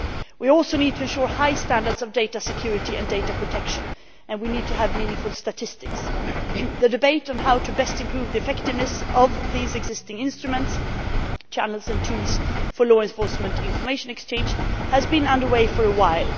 We also need to ensure high standards of data security and data protection, and we need to have meaningful statistics. The debate on how best to improve the effectiveness of the existing instruments, channels and tools for law enforcement information exchange has been under way for a while.